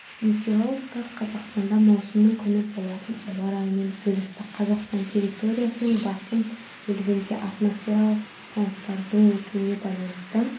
метеорологтар қазақстанда маусымның күні болатын ауа райымен бөлісті қазақстан территориясының басым бөлігінде атмосфералық фронттардың өтуіне байланысты